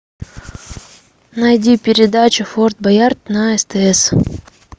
найди передачу форт боярд на стс